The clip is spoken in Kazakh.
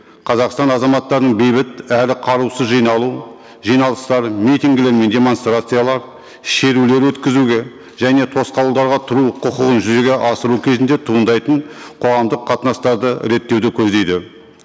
қазақстан азаматтарының бейбіт әрі қарусыз жиналу жиналыстар митингілері мен демонстрациялар шерулер өткізуге және тосқауылдарға тұру құқығын жүзеге асыру кезінде туындайтын қоғамдық қатынастарды реттеуді көздейді